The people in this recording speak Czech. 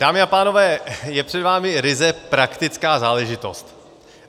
Dámy a pánové, je před vámi ryze praktická záležitost.